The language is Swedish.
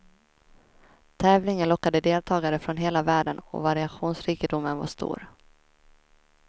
Tävlingen lockade deltagare från hela världen och variationsrikedomen var stor.